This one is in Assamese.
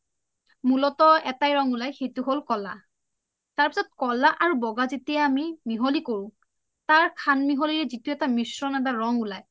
মুলত এটাই ৰং উলাই সেইটো হ’ল ক’লা তাৰপাছাত কলা আৰু বগা যেতিয়া আমি মিহলি কৰো তাৰ খানমিহলিৰ যিটো এটা মশ্ৰণ এটা ৰং উলাই